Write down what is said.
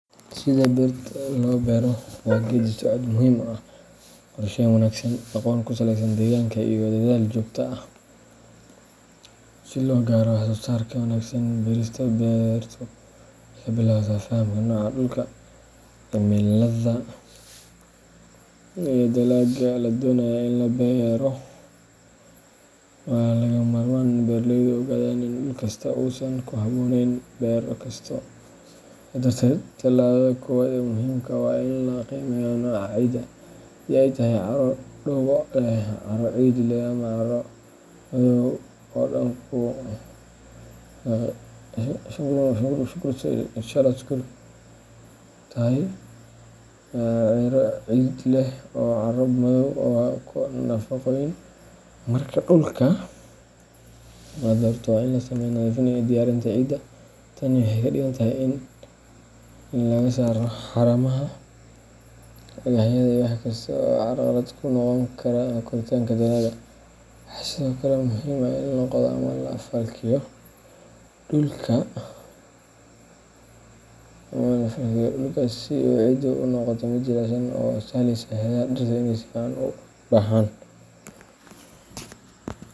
Sida beerta loo beero waa geedi socod muhiim ah oo u baahan qorsheyn wanaagsan, aqoon ku saleysan deegaanka, iyo dadaal joogto ah si loo gaaro wax-soo-saar wanaagsan. Beerista beertu waxay ka bilaabataa fahamka nooca dhulka, cimilada, iyo dalagga la doonayo in la beero. Waa lagama maarmaan in beeraleydu ogaadaan in dhul kasta uusan ku habboonayn beero kasta, sidaa darteed, talaabada koowaad ee muhiimka ah waa in la qiimeeyo nooca ciidda — haddii ay tahay carro dhoobo leh, carro ciid leh, ama carro madow oo hodan ku ah nafaqooyinka. Marka dhulka la doorto, waa in la sameeyaa nadiifin iyo diyaarinta ciidda. Tani waxay ka dhigan tahay in laga saaro haramaha, dhagaxyada, iyo wax kasta oo carqalad ku noqon kara koritaanka dalagga. Waxa sidoo kale muhiim ah in la qodo ama la falkiyo dhulka si ciiddu ay u noqoto mid jilicsan oo sahleysa xididdada dhirta inay si fiican u baxaan.